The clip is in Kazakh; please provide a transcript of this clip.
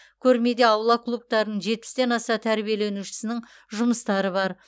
көрмеде аула клубтарының жетпістен аса тәрбиеленушісінің жұмыстары бар